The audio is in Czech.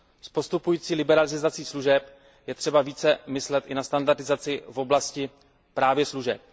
S postupující liberalizací služeb je třeba více myslet i na standardizaci právě v oblasti služeb.